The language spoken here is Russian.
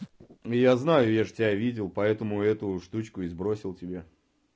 я знаю я же тебя видел поэтому эту штучку и сбросил тебе